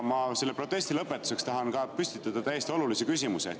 Selle protesti lõpetuseks tahan püstitada täiesti olulise küsimuse.